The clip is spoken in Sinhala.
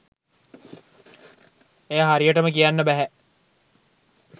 එය හරියටම කියන්න බැහැ.